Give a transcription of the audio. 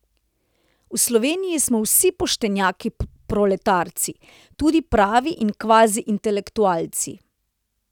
V Sloveniji smo vsi poštenjaki proletarci, tudi pravi in kvaziintelektualci.